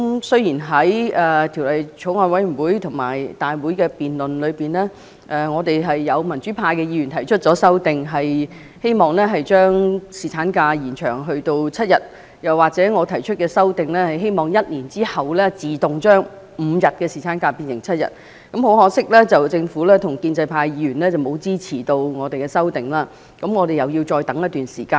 雖然在法案委員會和立法會大會的辯論上，有民主派的議員提出修正案，希望將侍產假延長至7天，又或者我提出的修正案，希望1年後自動將5天侍產假增加至7天，但很可惜，政府和建制派議員沒有支持我們的修正案，我們要再等待一段時間。